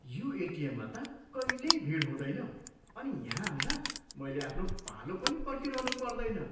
यो एटिएममा त कहिल्यै भिड हुँदैन अनि यहाँ आउँदा मैले आफ्नो पालो पनि पर्खिरहनु पर्दैन।